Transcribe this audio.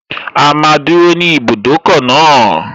A máa dúró ní ibùdókọ̀ náà